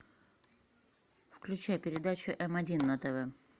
включай передачу м один на тв